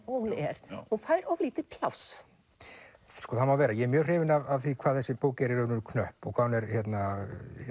hún er hún fær of lítið pláss það má vera ég er mjög hrifinn af því hvað þessi bók er í raun knöpp og hvað hún er hérna